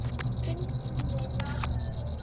Finnst henni.